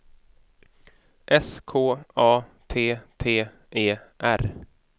S K A T T E R